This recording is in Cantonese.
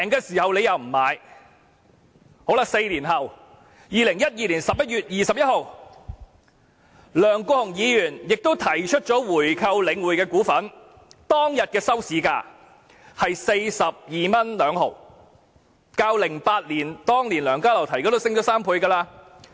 四年後 ，2012 年11月21日，梁國雄議員也提出購回領匯的股份，當天的收市價是 42.2 元，已經是2008年梁家騮提出時的3倍。